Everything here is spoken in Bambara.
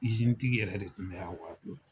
Izinitigi yɛrɛ de tun bɛ a waati